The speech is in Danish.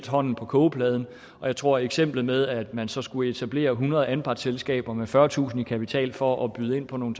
hånden på kogepladen og jeg tror at eksemplet med at man så skulle etablere hundrede anpartsselskaber med fyrretusind kroner i kapital for at byde ind på nogle